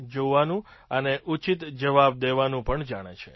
જોવાનું અને ઉચિત જવાબ દેવાનું પણ જાણે છે